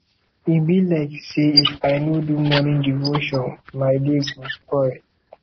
e be like sey if i no do morning devotion my day go spoil